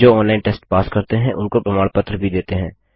जो online test pass करते हैं उनको प्रमाण पत्र भी देते हैं